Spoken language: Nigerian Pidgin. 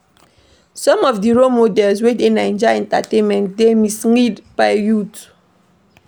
Some of di role models wey dey Naija entertainment dey mislead our youths.